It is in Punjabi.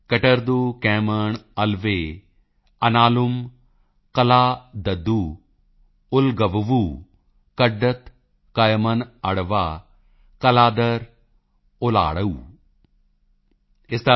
ਕਟਰਦੂ ਕੈਮਣ ਅਲਵੇ ਅਨਾਲੁਮ ਕੱਲਾਦਦੁ ਉਲਗਲਵੁ ਕੱਡਤ ਕਯਿਮਨ ਅੜਵਾ ਕੱਲਾਦਰ ਓਲਾਆੜੂ कट्टत केमांवु कल्लादरु उडगड़वु कड्डत कयिमन अड़वा कल्लादर ओलाआडू